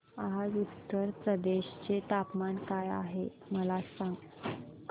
आज उत्तर प्रदेश चे तापमान काय आहे मला सांगा